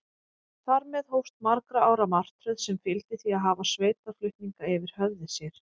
Þar með hófst margra ára martröð, sem fyldi því að hafa sveitarflutninga yfir höfði sér.